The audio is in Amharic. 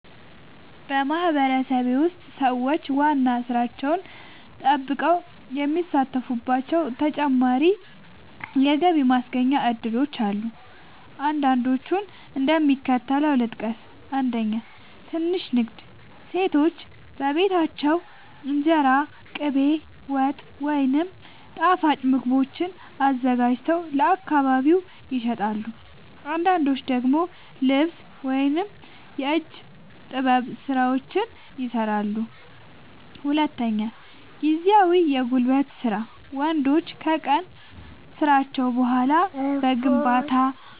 በማህበረሰቤ ውስጥ ሰዎች ዋና ሥራቸውን ጠብቀው የሚሳተፉባቸው ተጨማሪ የገቢ ማስገኛ እድሎች አሉ። አንዳንዶቹን እንደሚከተለው ልጠቅስ፦ 1. ትንሽ ንግድ – ሴቶች በቤታቸው እንጀራ፣ ቅቤ፣ ወጥ ወይም ጣፋጭ ምግቦችን አዘጋጅተው ለአካባቢ ይሸጣሉ። አንዳንዶች ደግሞ ልብስ ወይም የእጅ ጥበብ ሥራዎችን ይሠራሉ። 2. ጊዜያዊ የጉልበት ሥራ – ወንዶች ከቀን ሥራቸው በኋላ በግንባታ፣